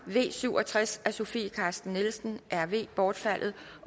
v syv og tres af sofie carsten nielsen bortfaldet